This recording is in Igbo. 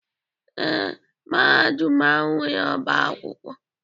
Ee, Mahadum ahụ nwere ọbá akwụkwọ.